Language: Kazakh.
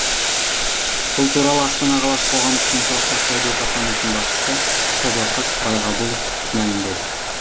бұл туралы астана қаласы қоғамдық денсаулық сақтау департаментінің басшысы сәдуақас байғабұлов мәлімдеді